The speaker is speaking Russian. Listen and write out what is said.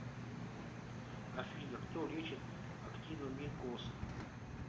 афина кто лечит актиномикоз